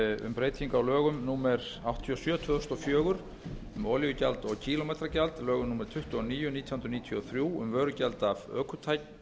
um breyting á lögum númer áttatíu og sjö tvö þúsund og fjögur um olíugjald og kílómetragjald lögum númer tuttugu og níu nítján hundruð níutíu og þrjú um vörugjald af ökutækjum